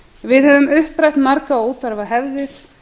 við höfum upprætt margar óþarfa hefðir